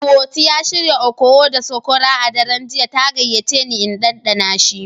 Ihotu ya shirya okoho da sokora a daren jiya ta gayyace ni in ɗanɗana shi.